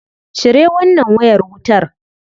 Cire wannan wayar wutar.